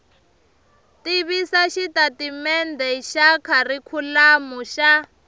tivisa xitatimendhe xa kharikhulamu xa